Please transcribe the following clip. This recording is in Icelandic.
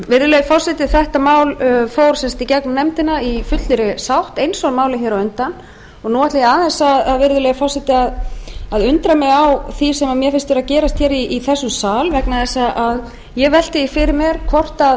virðulegi forseti þetta mál fór sem sagt í gegnum nefndina í fullri sátt eins og málið hér á undan og nú ætla ég aðeins virðulegi forseti að undra mig á því sem mér finnst vera að gerast í þessum sal vegna þess að ég velti því fyrir